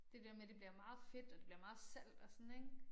Det der med det bliver meget fedt og det bliver meget salt også sådan ik